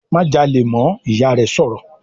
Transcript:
"Má jalè mọ́!", Ìyá rẹ̀ sọ̀rọ̀